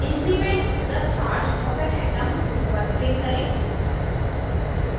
increment the charge of an atom tool पर click करें